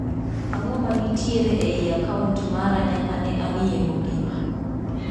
Ang'o ma nitiere ei akaunt mara nyaka ne ang'iye mogik.